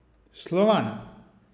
Slovan.